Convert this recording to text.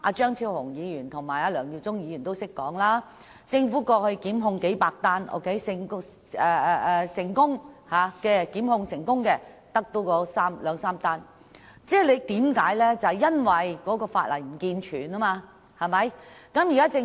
張超雄議員和梁耀忠議員剛才也說，政府過去曾提出過百宗檢控，但成功檢控的卻只有兩三宗，就是因為法例不健全。